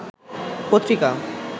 পত্রিকা